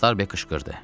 Starbek qışqırdı.